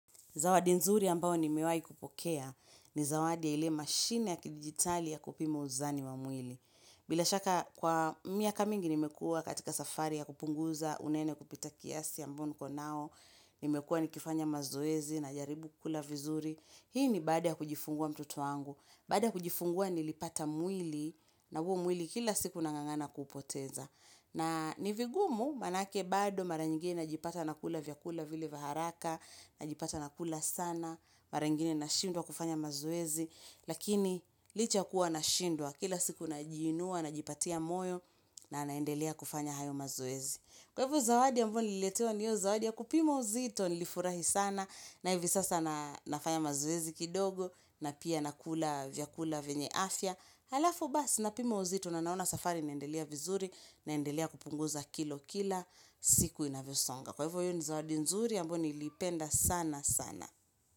Zawadi nzuri ambayo nimewahi kupokea ni zawadi ya ile machine ya kidigitali ya kupima uzani wa mwili. Bila shaka kwa miaka mingi nimekuwa katika safari ya kupunguza unene kupita kiasi ambao niko nao, nimekuwa nikifanya mazoezi najaribu kukula vizuri. Hii ni baada ya kujifungua mtoto wangu. Baada ya kujifungua nilipata mwili na huo mwili kila siku nang'ang'ana kuupoteza. Na ni vigumu manake bado mara nyingine najipata nakula vyakula vile vya haraka, najipata nakula sana. Mara ingine nashindwa kufanya mazoezi. Lakini licha ya kuwa nashindwa kila siku najiinua najipatia moyo na naendelea kufanya hayo mazoezi. Kwa hivyo zawadi ambayo nililetewa ni hiyo zawadi ya kupimo uzito nilifurahi sana na hivyo sasa na nafanya mazoezi kidogo. Na pia nakula vyakula vyenye afya halafu basi napima uzito na naona safari inaendelea vizuri naendelea kupunguza kilo kila siku inavyo songa. Kwa hivyo hiyo ni zawadi nzuri ambayo nilipenda sana sana.